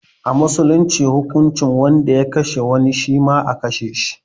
A musulunce hukuncin duk wanda ya kashe wani, shima a kashe shi.